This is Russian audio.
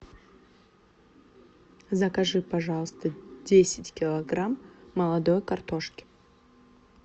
закажи пожалуйста десять килограмм молодой картошки